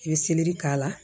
I bɛ k'a la